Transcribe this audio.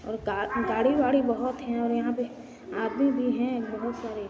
और गाड़ी वाड़ी बहुत है और यहा पे आदमी भी है बहुत सारे--